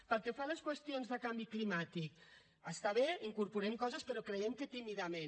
pel que fa a les qüestions de canvi climàtic està bé incorporem coses però creiem que tímidament